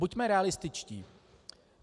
Buďme realističtí.